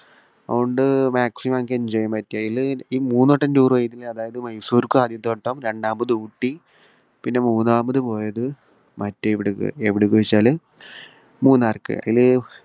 അതുകൊണ്ട് maximum നമുക്ക് enjoy ചെയ്യാൻ പറ്റി. അതിൽ ഈ മൂന്നുവട്ടം tour പോയതിൽ അതായത് മൈസൂർക്ക് ആദ്യത്തെ വട്ടം. രണ്ടാമത് ഊട്ടി, പിന്നെ മൂന്നാമത് പോയത് മറ്റേ എവിടേക്ക്. എവിടെ എന്നു ചോദിച്ചാല് മൂന്നാർക്ക്. അതിൽ